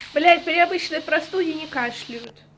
блять при обычной простуде не кашляют